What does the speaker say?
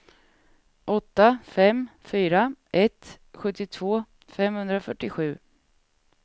åtta fem fyra ett sjuttiotvå femhundrafyrtiosju